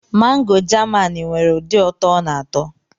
Mangoo Jamaanụ nwere ụdị ụtọ ọ na-atọ.